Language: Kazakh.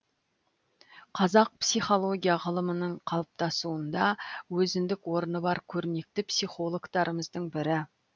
қазақ психология ғылымының қалыптасуында өзіндік орны бар көрнекті психологтарымыздың бірі